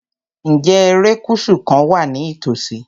Ǹjẹ́ erékùṣù kan wà ní ìtòsí?